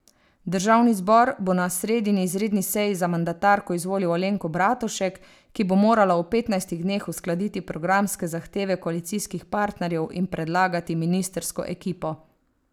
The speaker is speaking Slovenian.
Državni zbor bo na sredini izredni seji za mandatarko izvolil Alenko Bratušek, ki bo morala v petnajstih dneh uskladiti programske zahteve koalicijskih partnerjev in predlagati ministrsko ekipo.